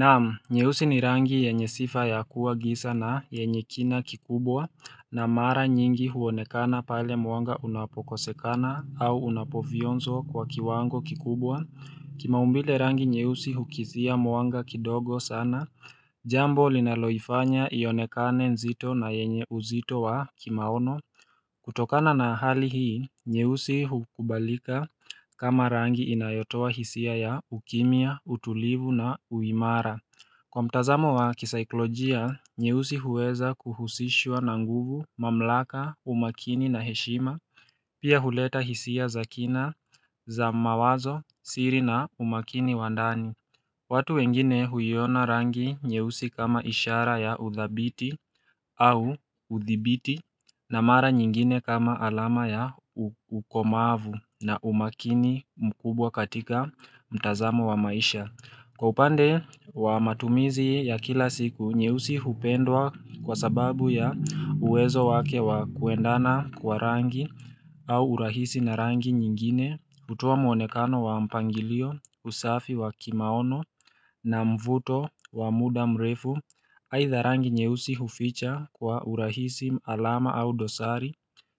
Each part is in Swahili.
Naam nyeusi ni rangi yenye sifa ya kuwa gisa na yenye kina kikubwa na mara nyingi huonekana pale mwanga unapokosekana au unapovyonzo kwa kiwango kikubwa Kimaumbile rangi nyeusi hukizia mwanga kidogo sana Jambo linaloifanya ionekane nzito na yenye uzito wa kimaono kutokana na hali hii, nyeusi hukubalika kama rangi inayotoa hisia ya ukimya, utulivu na uimara Kwa mtazamo wa kisaiklojia, nyeusi huweza kuhusishwa na nguvu, mamlaka, umakini na heshima Pia huleta hisia za kina, za mawazo, siri na umakini wa ndani watu wengine huiona rangi nyeusi kama ishara ya uthabiti au uthibiti na mara nyingine kama alama ya ukomavu na umakini mkubwa katika mtazamo wa maisha. Kwa upande wa matumizi ya kila siku, nyeusi hupendwa kwa sababu ya uwezo wake wa kuendana kwa rangi au urahisi na rangi nyingine, hutoa muonekano wa mpangilio, usafi wa kimaono na mvuto wa mda mrefu, aidha rangi nyeusi huficha kwa urahisi alama au dosari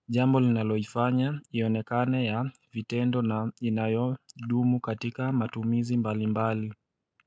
Jambo linaloifanya ionekane ya vitendo na inayodumu katika matumizi mbali mbali.